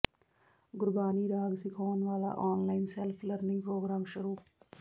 ਗੁਰਬਾਣੀ ਰਾਗ ਸਿਖਾਉਣ ਵਾਲਾ ਆਨਲਾਈਨ ਸੈਲਫ ਲਰਨਿੰਗ ਪ੍ਰੋਗਰਾਮ ਸ਼ੁਰੂ